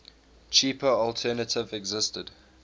cheaper alternative existed